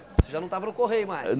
Você já não estava no Correio mais.